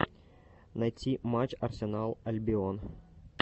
найти матч арсенал альбион